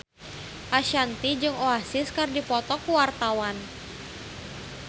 Ashanti jeung Oasis keur dipoto ku wartawan